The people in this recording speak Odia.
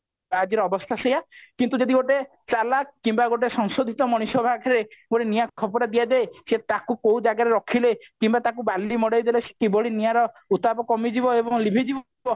ତ ଆଜିର ଅବସ୍ଥା ସେୟା କିନ୍ତୁ ଯଦି ଗୋଟେ ଚାଲାଖ କିମ୍ବା ସଂଶୋଧିତ ମଣିଷ ପାଖରେ ଗୋଟେ ନିଆଁ ଖପରା ଦିଆ ଯାଏ ସେ ତାକୁ କୋଉ ଜାଗାରେ ରଖିଲେ କିମ୍ବା ତାକୁ ବାଲି ମଡେଇଦେଲେ ସେ କିଭଳି ନିଆଁର ଉତ୍ତାପ କମିଯିବ ଏବଂ ଲିଭିଯିବ